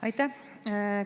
Aitäh!